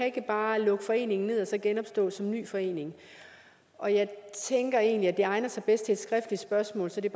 ikke bare kan lukke foreningen ned og så genopstå som en ny forening og jeg tænker egentlig at det egner sig bedst til et skriftligt spørgsmål så det